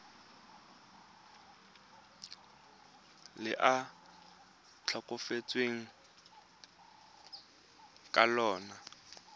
le a tlhokafetseng ka lona